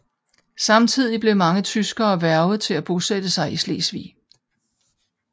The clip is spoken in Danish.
Samtidig blev mange tyskere hvervet til at bosætte sig i Slesvig